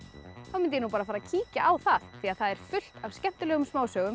þá mundi ég bara fara að kíkja á það því þar er fullt af skemmtilegum smásögum